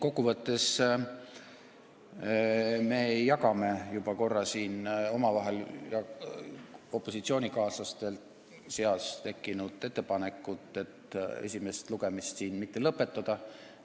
Kokkuvõtteks ütlen, et me jagame juba korra siin opositsioonikaaslaste seas tekkinud ettepanekut esimest lugemist mitte lõpetada.